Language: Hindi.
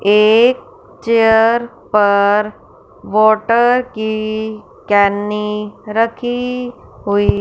एक चेयर पर वाटर की केनी रखी हुई--